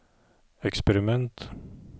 eksperiment